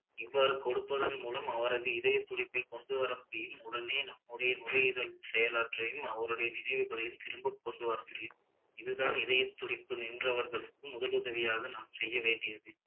இவ்வாறு கொடுப்பதன் மூலம் அவரது இதயத்துடிப்பை கொண்டுவர முடியும் உடனே நுரயீரல் செயலாற்றையும் அவருடைய நினைவுகளையும் திரும்ப கொண்டுவர முடியும் இதுதான் இதயத்துடிப்பு நின்றவர்களுக்கும் முதலுதவியாக நாம் செய்ய வேண்டியது